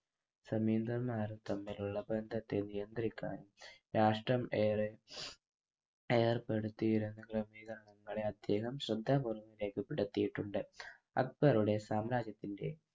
ജമീന്ദന്മാരും തമ്മിൽ ഉള്ള ബന്ധത്തെ നിയന്ത്രിക്കാൻ രാഷ്ട്രം ഏറെ ഏർപ്പെടുത്തിയിരുന്നത് ജമീന്ദാങ്ങളെ അധികം ശ്രദ്ധാപൂർവം രേഖപ്പെടുത്തിയിട്ടുണ്ട്. അക്ബറുടെ സാമ്രാജ്യത്തിൻ്റെ